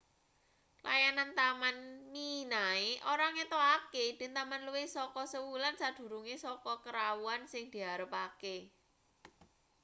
layanan taman minae ora ngetokake idin taman luwih saka sewulan sadurunge saka karawuhan sing diarepake